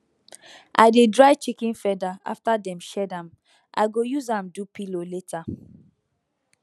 i dey dry chicken feather after dem shed am i go use am do pillow later